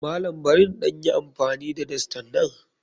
Malam barin ɗan yi amfani da dastan nan?